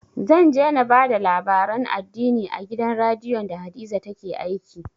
Zan je na ba da labaran addini a gidan radiyon da hadiza take aiki